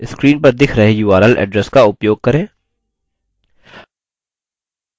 screen पर दिख रहे url address का उपयोग करें